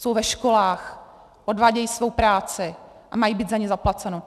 Jsou ve školách, odvádějí svou práci a mají být za ni zaplaceni.